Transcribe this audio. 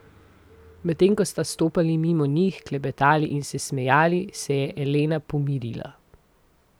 Medtem ko sta stopali mimo njih, klepetali in se smejali, se je Elena pomirila.